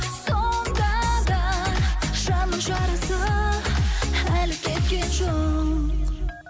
сонда да жанның жарасы әлі кеткен жоқ